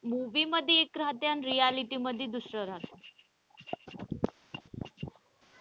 Movie मध्ये एक रहाते आणि reality मध्ये दुसरं रहात.